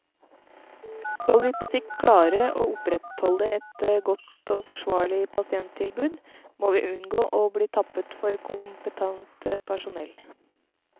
Skal vi på sikt klare å opprettholde et godt og forsvarlig pasienttilbud, må vi unngå å bli tappet for kompetent personell.